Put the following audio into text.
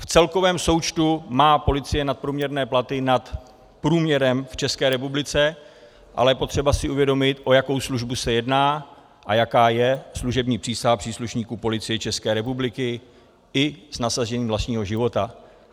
V celkovém součtu má policie nadprůměrné platy nad průměrem v České republice, ale je potřeba si uvědomit, o jakou službu se jedná a jaká je služební přísaha příslušníků Policie České republiky - i s nasazením vlastního života.